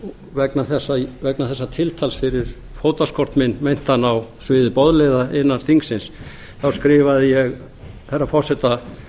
hér í gær vegna þessa tiltals fyrir fótaskort minn meintan á sviði boðleiða innan þingsins þá skrifaði ég herra forseta